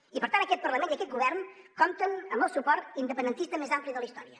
i per tant aquest parlament i aquest govern compten amb el suport independentista més ampli de la història